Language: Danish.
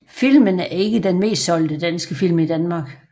Filmen er ikke den mest solgte danske film i Danmark